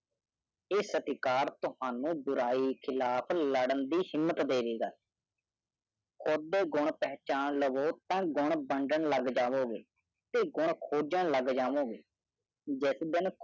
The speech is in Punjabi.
ਇਹ ਸਤਿਕਾਰ ਤੋਹਾਨੂ ਬੁਰਾਈ ਖਿਲਾਫ ਲਾਡਾਂ ਦੀ ਹਿੰਮਤ ਦੇਵੇਗਾ ਖੁਦ ਦੇ ਗਨ ਪਹਿਚਾਣ ਲਵੋ ਤਾਂ ਗਨ ਬੰਡਣ ਲਗ ਜਾਵੋਗੇ ਤੇ ਗਨ ਖੋਜਾਂ ਲਗ ਜਾਵੋਗੇ ਜਿਸ ਦਿਨ